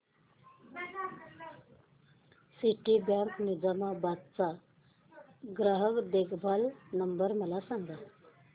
Citibank Nizamabad चा ग्राहक देखभाल नंबर मला सांगा